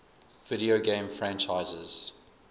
video game franchises